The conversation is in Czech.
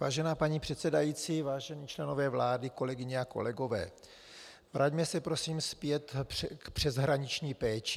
Vážená paní předsedající, vážení členové vlády, kolegyně a kolegové, vraťme se prosím zpět k přeshraniční péči.